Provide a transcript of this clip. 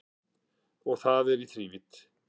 Og það í þrívídd